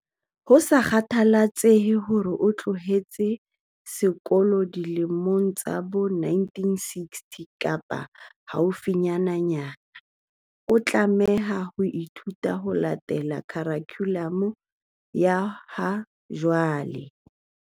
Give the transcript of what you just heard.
Ho sa kgathaletsehe hore na o tloheletse sekolo dilemong tsa bo 1960 kapa haufinyananyana, o tlameha ho ithuta ho latela khurikhulamu ya ha jwale.